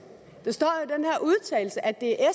at det er